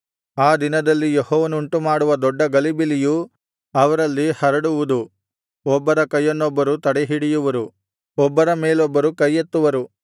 ಆ ದಿನದಲ್ಲಿ ಯೆಹೋವನು ಉಂಟುಮಾಡುವ ದೊಡ್ಡ ಗಲಿಬಿಲಿಯು ಅವರಲ್ಲಿ ಹರಡುವುದು ಒಬ್ಬರ ಕೈಯನೊಬ್ಬರು ತಡೆಹಿಡಿಯುವರು ಒಬ್ಬರ ಮೇಲೊಬ್ಬರು ಕೈಯೆತ್ತುವರು